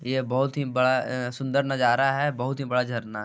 ये बहुत ही बड़ा अ सुंदर नज़ारा है बहुत ही बड़ा झरना--